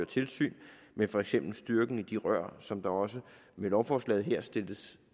tilsyn med for eksempel styrken i de rør som der også med lovforslaget her stilles